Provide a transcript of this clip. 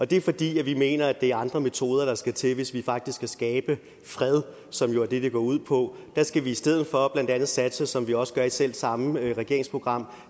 det er fordi vi mener at det er andre metoder der skal til hvis vi faktisk skal skabe fred som jo er det det går ud på der skal vi i stedet for blandt andet satse som vi også gør i selv samme regeringsprogram